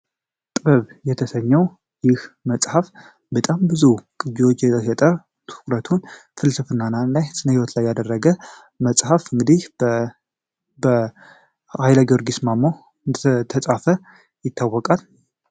ጥብ የተሰኘው ይህ መጽሐፍ በጣም ብዙ ቅጂዎች የተሸጠ ትኩረቱን ፍልስፍና ላይ ስነህይወት ላይ ያደረገ መጽሐፍ እንግዲህ በ ኃይለ ጊዮርጊስ ማሞ እንደተጻፈ ይታወቃል።